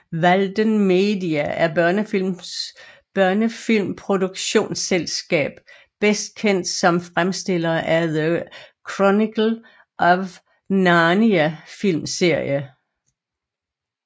Walden Media er et børnefilmproduktionselskab bedst kendt som fremstillere af The Chronicles of Narnia film serie